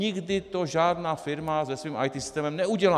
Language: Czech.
Nikdy to žádná firma se svým IT systémem neudělá!